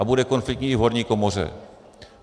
A bude konfliktní i v horní komoře.